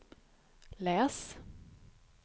läs